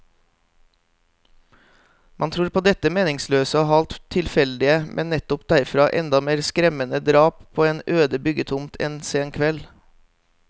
Man tror på dette meningsløse og halvt tilfeldige, men nettopp derfor enda mer skremmende drap på en øde byggetomt en sen kveld.